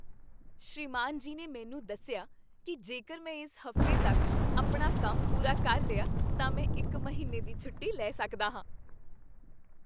ਸ੍ਰੀਮਾਨ ਜੀ ਨੇ ਮੈਨੂੰ ਦੱਸਿਆ ਕੀ ਜੇਕਰ ਮੈਂ ਇਸ ਹਫ਼ਤੇ ਤੱਕ ਆਪਣਾ ਕੰਮ ਪੂਰਾ ਕਰ ਲਿਆ ਤਾਂ ਮੈਂ ਇੱਕ ਮਹੀਨੇ ਦੀ ਛੁੱਟੀ ਲੈ ਸਕਦਾ ਹਾਂ!